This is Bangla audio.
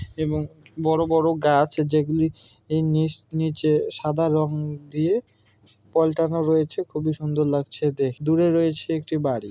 এবং বড় বড় গাছ যেগুলো এই নিচ নিচে সাদা রং দিয়ে পাল্টানো রয়েছে। খুবই সুন্দর লাগছে দেখ। দূরে রয়েছে একটি বাড়ি।